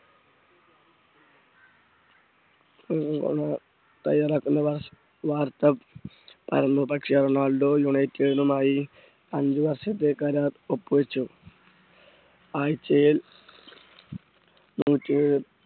തയ്യാറാക്കുന്ന വാർത്ത പരന്നു പക്ഷേ റൊണാൾഡോ യുണൈറ്റഡ് മായി അഞ്ചു വർഷത്തെ കരാർ ഒപ്പുവച്ചു ആഴ്ചയിൽ നൂറ്റി